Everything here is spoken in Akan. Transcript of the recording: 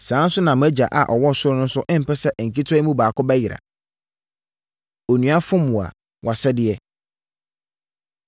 Saa ara nso na mʼagya a ɔwɔ ɔsoro no mpɛ sɛ nketewa yi mu baako bɛyera. Onua Fom Wo A, Wʼasɛdeɛ